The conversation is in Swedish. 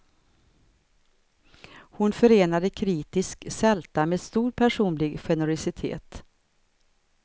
Hon förenade kritisk sälta med stor personlig generositet.